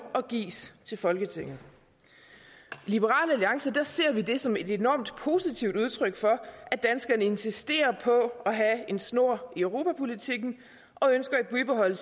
og gives til folketinget i liberal alliance ser vi det som et enormt positivt udtryk for at danskerne insisterer på at have snor i europapolitikken og ønsker at bibeholde